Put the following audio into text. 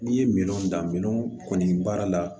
N'i ye minɛnw dan minɛnw kɔni baara la